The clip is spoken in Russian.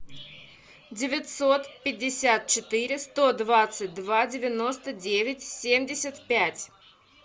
девятьсот пятьдесят четыре сто двадцать два девяносто девять семьдесят пять